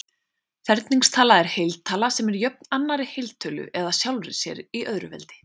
Ferningstala er heiltala sem er jöfn annarri heiltölu eða sjálfri sér í öðru veldi.